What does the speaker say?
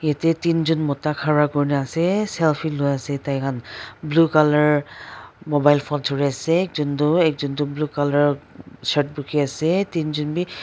Etya ten jun moda khara kuri kena ase selfie loi ase tai khan blue colour mobile phone thure ase ek jun tu blue colour shirt bukhe aae ten jun bhi--